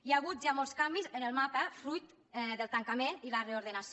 hi ha hagut ja molts canvis en el mapa fruit del tancament i la reordenació